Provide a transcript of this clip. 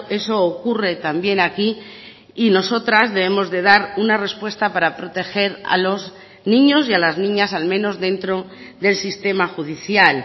eso ocurre también aquí y nosotras debemos de dar una respuesta para proteger a los niños y a las niñas al menos dentro del sistema judicial